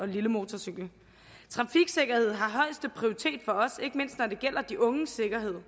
lille motorcykel trafiksikkerhed har højeste prioritet for os ikke mindst når det gælder de unges sikkerhed